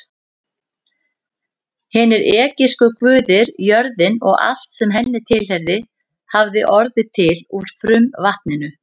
Hinir egypsku guðir, jörðin og allt sem henni tilheyrði, hafði orðið til úr frumvatninu.